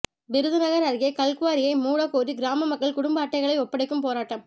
விருதுநகா் அருகே கல்குவாரியை மூடக் கோரி கிராம மக்கள் குடும்ப அட்டைகளை ஒப்படைக்கும் போராட்டம்